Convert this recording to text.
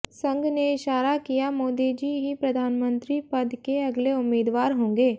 संघ ने इशारा किया मोदीजी ही प्रधानमंत्री पद के अगले उम्मीदवार होंगे